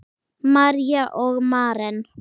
María og Maren.